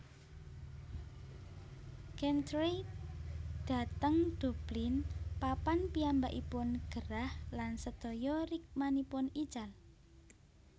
Chantrey dhateng Dublin papan piyambakipun gerah lan sedaya rikmanipun ical